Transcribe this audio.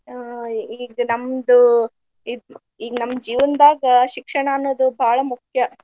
ಹ್ಮ್‌ ಈಗ್ ನಮ್ದು ಇದ್ ಈ ನಮ್ಮ ಜೀವನ್ದಾಗ ಶಿಕ್ಷಣ ಅನ್ನೋದು ಬಾಳ ಮುಖ್ಯ.